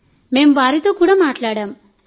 కాబట్టి మేం వారితో కూడా మాట్లాడాం